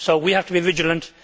So we have to be vigilant.